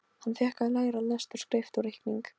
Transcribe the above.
Hann fékk að læra lestur og skrift og reikning.